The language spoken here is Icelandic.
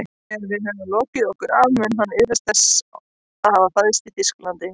Þegar við höfum lokið okkur af mun hann iðrast þess að hafa fæðst í Þýskalandi